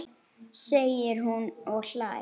segir hún og hlær.